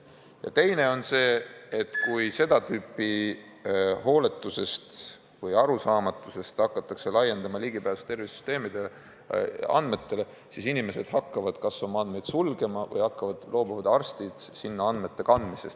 Ja teist laadi mõju on see, et kui kas hooletusest või arusaamatusest hakatakse laiendama ligipääsu tervise infosüsteemi andmetele, siis inimesed hakkavad oma andmeid sulgema või loobuvad arstid sinna andmeid kandmast.